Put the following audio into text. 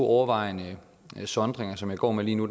overvejende to sondringer som jeg går med lige nu